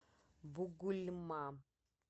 бугульма